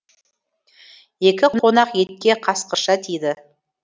екі қонақ етке қасқырша тиді